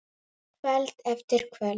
Kvöld eftir kvöld.